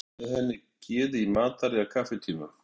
Enginn sem deilir með henni geði í matar- eða kaffitímum.